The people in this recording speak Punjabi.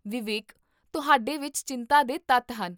ਵਿਵੇਕ, ਤੁਹਾਡੇ ਵਿੱਚ ਚਿੰਤਾ ਦੇ ਤੱਤ ਹਨ